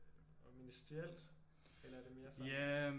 Ministerielt eller er det mere sådan